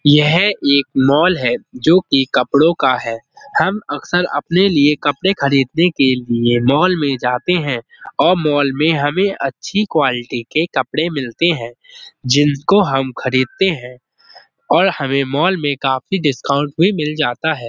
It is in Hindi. यह एक मॉल है जो कि कपड़ों का है। हम अक्सर अपने लिए कपड़े खरीदने के लिए मॉल में जाते हैं और मॉल में हमें अच्छी क्वालिटी के कपड़े मिलते हैं। जिनको हम खरीदते हैं और हमें मॉल में काफी डिस्काउंट भी मिल जाता है।